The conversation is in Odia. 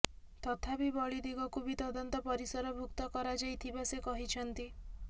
ତଥାପି ବଳି ଦିଗକୁ ବି ତଦନ୍ତ ପରିସରଭୁକ୍ତ କରାଯାଇଥିବା ସେ କହିଛନ୍ତି